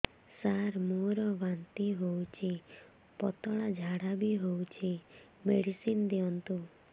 ସାର ମୋର ବାନ୍ତି ହଉଚି ପତଲା ଝାଡା ବି ହଉଚି ମେଡିସିନ ଦିଅନ୍ତୁ